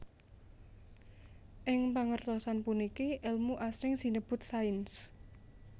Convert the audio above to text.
Ing pangertosan puniki èlmu asring sinebut sains